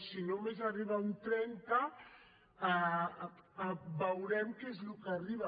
si només n’arriba un trenta veurem què és el que arriba